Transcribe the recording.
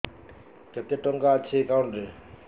କେତେ ଟଙ୍କା ଅଛି ଏକାଉଣ୍ଟ୍ ରେ